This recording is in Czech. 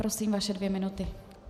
Prosím, vaše dvě minuty.